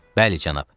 Bəli, cənab.